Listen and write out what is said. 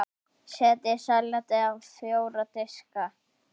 Setjið salatið á fjóra diska.